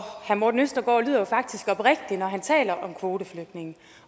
morten østergaard lyder jo faktisk oprigtig når han taler om kvoteflygtninge